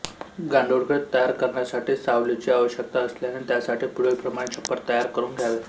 गांडूळखत तयार करण्यासाठी सावलीची आवश्यकता असल्याने त्यासाठी पुढीलप्रमाणे छप्पर तयार करून घ्यावे